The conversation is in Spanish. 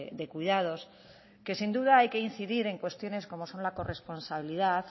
de cuidados que sin duda hay que incidir en cuestiones como son la corresponsabilidad